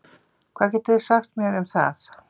Hvað getið þið sagt mér um það?